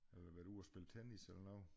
Eller været ude og spille tennis eller noget